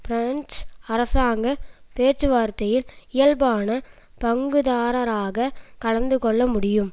French அரசாங்க பேச்சு வார்த்தையில் இயல்பான பங்குதாரராக கலந்து கொள்ள முடியும்